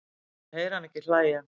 Ég heyri hana ekki hlæja